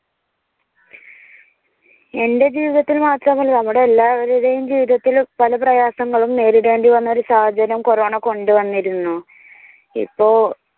എന്റെ ജീവിതത്തിൽ മാത്രമാണോ എന്ന് അറിഞ്ഞുകൂടാ നമ്മുടെ എല്ലാവരുടെയും ജീവിതത്തിൽ പല പ്രയാസങ്ങളും നേരിടേണ്ടി വന്ന ഒരു സാഹചര്യം കൊറോണ കൊണ്ടുവന്നിരുന്നു. ഇപ്പോ